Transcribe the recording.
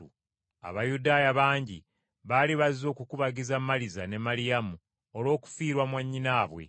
Abayudaaya bangi baali bazze okukubagiza Maliza ne Maliyamu olw’okufiirwa mwannyinaabwe.